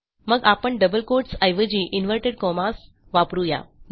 मग आपण double quotes ऐवजी इनव्हर्टेड कॉमास वापरू या